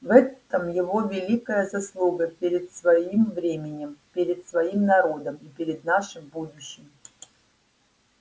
в этом его великая заслуга перед своим временем перед своим народом и перед нашим будущим